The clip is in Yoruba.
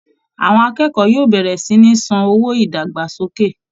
Àwọn akẹ́kọ̀ọ́ yóò bẹ̀rẹ̀ sí ní san owó ìdàgbàsókè